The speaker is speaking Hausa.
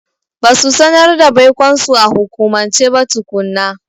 Ba su sanar da baikonsu a hukumance ba tukuna.